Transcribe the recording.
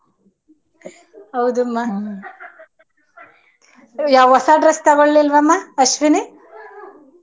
ಹೌದುಮ ಯಾವ್ ಹೊಸ dress ತಗೊಳಿಲ್ವಮ್ಮ ಅಶ್ವಿನಿ ?